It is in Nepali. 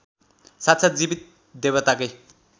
साक्षात् जीवित देवताकै